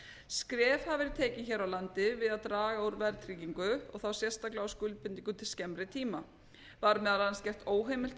skref hafa verið tekin hér á landi við að draga úr verðtryggingu og þá sérstaklega á skuldbindingum til skemmri tíma var meðal annars gert óheimilt